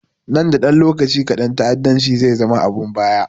Nan da lokaci kaɗan ta'addanci zai zama abun baya